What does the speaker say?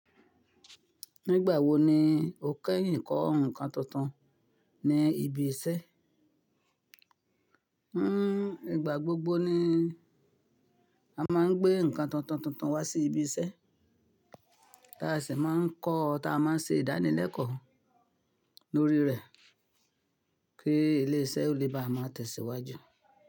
Nígbà wo ni o kẹ́yìn kọ́ nǹkan tuntun ní ibi iṣẹ́? Hín, ìgbà gbogbo ni a máa ń gbé nǹkan tuntun tuntun wá sí ibi iṣẹ́. Táàsì máa ń kọ́ tí a máa ń ṣe ìdánilẹ́kọ̀ọ́ lórí rẹ̀ kí ilé iṣẹ́ ó lè bá a máa tẹ̀síwájú.